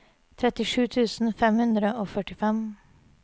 trettisju tusen fem hundre og førtifem